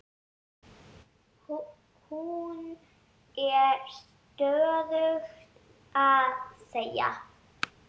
Hún er stöðugt að segja